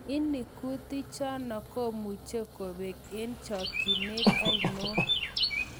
Ini kutik chano komuche kopang eng chakinet aniong